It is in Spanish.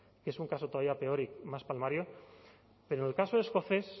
que es un caso todavía peor y más palmario pero el caso escocés